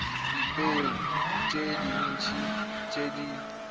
dipeo tse dintsi tse di